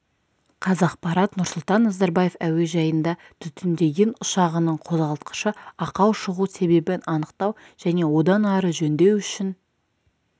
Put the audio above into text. қазақпарат нұрсұлтан назарбаев әуежайында түтіндеген ұшағының қозғалтқышы ақау шығу себебін анықтау және одан ары жөндеу үшін